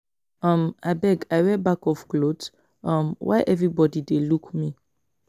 um Abeg I wear back of cloth? um Why everybody dey look me?